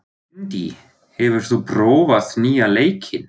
Dendý, hefur þú prófað nýja leikinn?